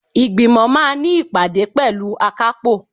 Ìgbìmọ̀ máà ní ìpàdé pẹ̀lú akápò.